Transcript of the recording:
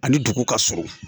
Ani dugu ka surun